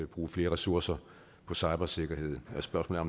bruge flere ressourcer på cybersikkerhed spørgsmålet